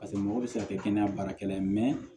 Paseke mɔgɔw bɛ se ka kɛ kɛnɛya baarakɛla ye